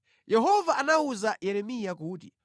Yehova anawuza Yeremiya kuti: